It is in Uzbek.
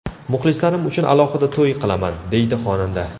Muxlislarim uchun alohida to‘y qilaman”, deydi xonanda.